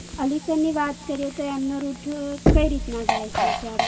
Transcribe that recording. અલી સરની વાત કરીયેતો એમનો Rut કઈ રીતનો જાય છે અત્યારે?